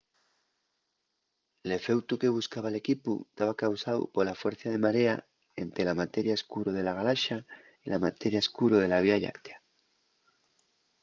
l'efeutu que buscaba l'equipu taba causáu pola fuercia de marea ente la materia escuro de la galaxa y la materia escuro de la vía lláctea